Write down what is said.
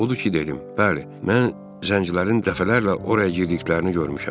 Odur ki, dedim: Bəli, mən zəncilərin dəfələrlə oraya girdiklərini görmüşəm.